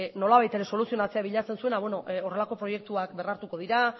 nolabait ere soluzionatzea bilatzen zuena beno horrelako proiektuak bermatuko dira